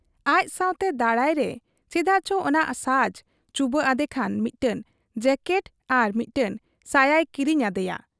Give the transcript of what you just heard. ᱟᱡ ᱥᱟᱶᱛᱮ ᱫᱟᱬᱟᱭᱨᱮ ᱪᱮᱫᱟᱜ ᱪᱚ ᱚᱱᱟ ᱥᱟᱡᱽ ᱪᱩᱵᱟᱹᱜ ᱟᱫᱮ ᱠᱷᱟᱱ ᱢᱤᱫᱴᱟᱹᱝ ᱡᱟᱹᱠᱮᱴ ᱟᱨ ᱢᱤᱫᱴᱟᱹᱝ ᱥᱟᱭᱟᱭ ᱠᱤᱨᱤᱧ ᱟᱫᱮᱭᱟ ᱾